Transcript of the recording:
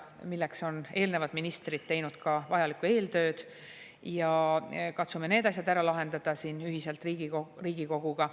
Selleks on ka eelnevad ministrid teinud vajalikku eeltööd, katsume need asjad ära lahendada siin ühiselt Riigikoguga.